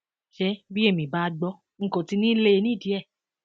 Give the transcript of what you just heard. ṣé bí èmi bá gbọ n kò ti ní í lé e nídìí ẹ